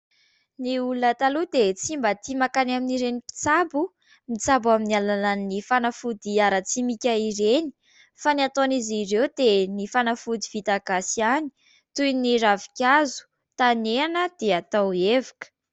Ny olona taloha dia tsy mba tia mankany amin'ireny mpitsabo mitsabo amin'ny alalan'ny fanafody ara-tsimika ireny fa ny ataon'izy ireo dia ny fanafody vita gasy ihany, toy ny ravinkazo tanehana dia atao evoka.